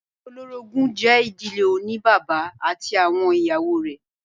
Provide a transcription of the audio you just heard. Ìdílé olórogún jẹ́ ìdílé oní bàbá ati awọn ìyàwó rẹ̀.